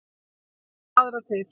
Og svo aðra til.